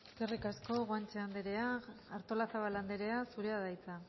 eskerrik asko guanche anderea artolazabal anderea zurea da hitza